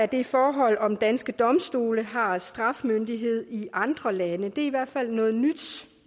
det forhold om danske domstole har straffemyndighed i andre lande det er i hvert fald noget nyt